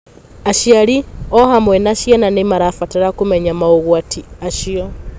Aciari o hamwe na ciana nĩ marabatara kũmenya maũgwati acio.